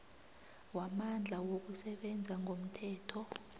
wamandla wokusebenza ngomthetho